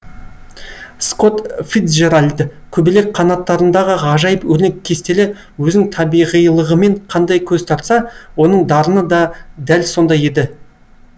скотт фицджеральд көбелек қанаттарындағы ғажайып өрнек кестелер өзінің табиғилығымен қандай көз тартса оның дарыны да дәл сондай еді